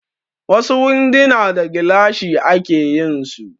Wasu winduna da gilashi ake yinsu